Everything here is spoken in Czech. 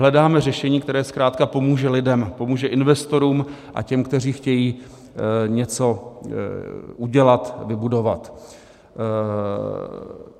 Hledáme řešení, které zkrátka pomůže lidem, pomůže investorům a těm, kteří chtějí něco udělat, vybudovat.